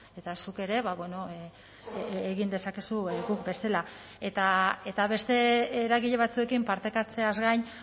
eta zuk ere egin dezakezu guk bezala eta beste eragile batzuekin partekatzeaz gain